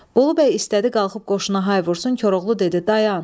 Bolu bəy istədi qalxıb qoşuna hay vursun, Koroğlu dedi dayan.